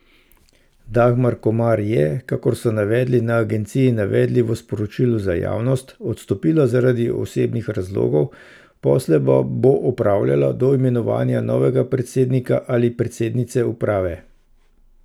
Dagmar Komar je, kakor so navedli na agenciji navedli v sporočilu za javnost, odstopila zaradi osebnih razlogov, posle pa bo opravljala do imenovanja novega predsednika ali predsednice uprave.